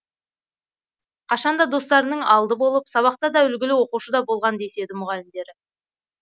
қашанда достарының алды болып сабақтада үлгілі оқушыда болған деседі мұғалімдері